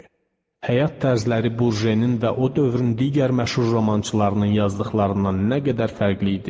Həyat tərzləri Burjenin və o dövrün digər məşhur romançılarının yazdıqlarından nə qədər fərqli idi.